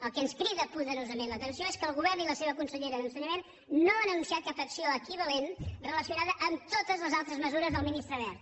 el que ens crida poderosament l’atenció és que el govern i la seva consellera d’ensenyament no han anunciat cap acció equivalent relacionada amb totes les altres mesures del ministre wert